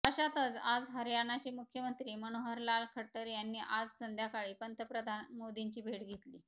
अशातच आज हरयाणाचे मुख्यमंत्री मनोहरलाल खट्टर यांनी आज संध्याकाळी पंतप्रधान मोदींची भेट घेतली